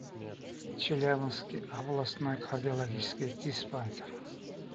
челябинский областной кардиологический диспансер